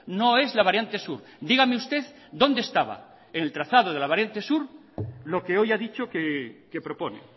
no es la variante sur dígame usted dónde estaba en el trazado de la variante sur lo que hoy ha dicho que propone